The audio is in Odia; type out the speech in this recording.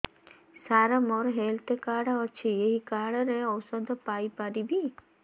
ସାର ମୋର ହେଲ୍ଥ କାର୍ଡ ଅଛି ଏହି କାର୍ଡ ରେ ଔଷଧ ପାଇପାରିବି